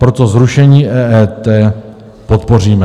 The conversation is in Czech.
Proto zrušení EET podpoříme.